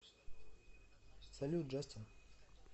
салют джастин